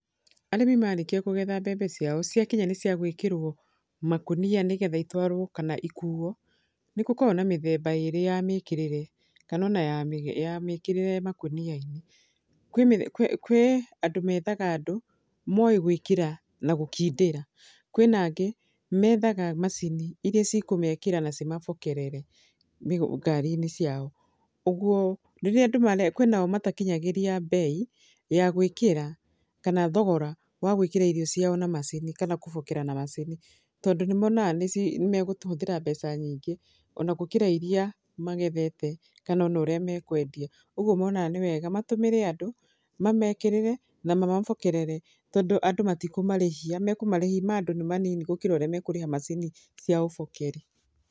Arĩmi marĩkia kũgetha mbembe ciao ciakinya nĩ cia gwĩkĩrwo makũnia nĩgetha itwarwo kana ikuuo, nĩ gũkoragwo na mĩthemba ĩĩrĩ ya mĩkĩrĩre, kana ona ya ya mĩkĩrĩre makũnia-inĩ. Kwĩ kwĩ kwĩ andũ methaga andũ, moĩ gwĩkĩra na gũkindĩra. Kwĩna angĩ, methaga macini irĩa cikũmekĩra na cimabokerere ngari-inĩ ciao. Ũguo, rĩrĩa andũ, kwĩnao matikinyagĩria mbei ya gwĩkĩra, kana thogora wa gwĩkĩra irio ciao na macini, kana kũbokera na macini, tondũ nĩ monaga nĩ nĩ megũhũthĩra mbeca nyingĩ ona gũkĩra irĩa magethete, kana ona ũrĩa mekwendia. Ũguo monaga nĩ wega, matũmĩre andũ, mamekĩrĩre, na mamabokerere, tondũ andũ matikũmarĩhia, mekũmarĩhi ma andũ nĩ manini gũkĩra ũrĩa mekũrĩha macini cia ũbokeri.